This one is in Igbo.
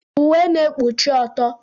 Uwe na-ekpuchi ọtọ.